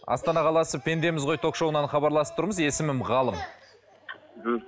астана қаласы пендеміз ғой ток шоуынан хабарласып тұрмыз есімім ғалым мхм